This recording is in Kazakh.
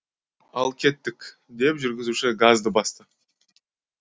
ал кеттік деп жүргізуші газды басты